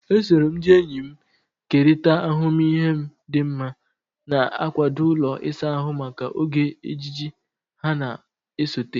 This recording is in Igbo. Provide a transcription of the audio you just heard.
Esoro m ndị enyi m kerịta ahụmịhe m dị mma, na-akwado ụlọ ịsa ahụ maka oge ejiji ha na-esote.